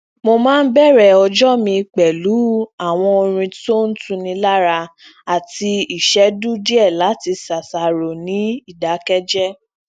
mo máa ń bẹrẹ ọjọ mi pẹlú àwọn orin tó ń tuni lára àti ìṣéjú díẹ lati ṣàṣàrò ní ìdákéjé